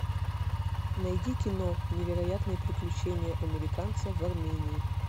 найди кино невероятные приключения американца в армении